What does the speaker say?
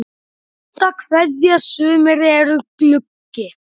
HINSTA KVEÐJA Sumir eru gluggi.